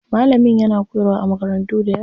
Malamin yana koyarwa a makarantu dayawa.